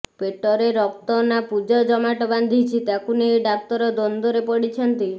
ପେଟରେ ରକ୍ତ ନା ପୁଜ ଜମାଟ ବାନ୍ଧିଛି ତାକୁ ନେଇ ଡାକ୍ତର ଦ୍ୱନ୍ଦ୍ବରେ ପଡ଼ିଛନ୍ତି